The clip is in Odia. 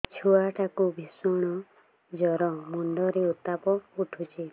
ଛୁଆ ଟା କୁ ଭିଷଣ ଜର ମୁଣ୍ଡ ରେ ଉତ୍ତାପ ଉଠୁଛି